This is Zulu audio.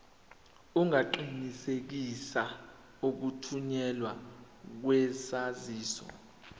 ungaqinisekisa ukuthunyelwa kwesaziso